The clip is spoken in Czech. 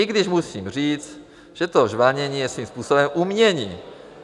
I když musím říct, že to žvanění je svým způsobem umění.